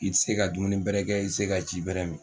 I tɛ se ka dumuni bɛrɛ kɛ i tɛ se ka ji bɛrɛ min